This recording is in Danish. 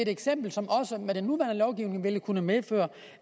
eksempel som også med den nuværende lovgivning ville kunne medføre